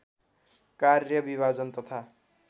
कार्य विभाजन तथा